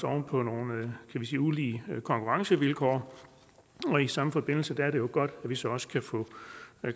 oven på nogle kan vi sige ulige konkurrencevilkår i samme forbindelse er det jo godt at vi så også kan få